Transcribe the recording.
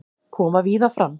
Koma víða fram